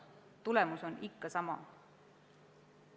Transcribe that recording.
Tulemus on ikka sama.